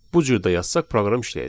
bu cür də yazsaq proqram işləyəcək.